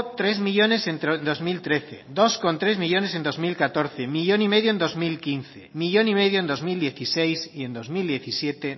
tres millónes en dos mil trece dos coma tres millónes en dos mil catorce uno coma cinco millónes en dos mil quince uno coma cinco millónes en dos mil dieciséis y en dos mil diecisiete